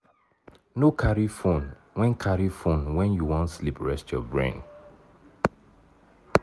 no carry phone when carry phone when you wan sleep rest your brain